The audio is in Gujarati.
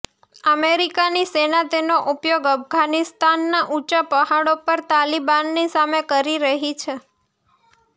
અમેરીકાની સેના તેનો ઉપયોગ અફધાનિસ્તાનનાં ઉંચા પહાડો પર તાલિબાનની સામે કરી રહી છે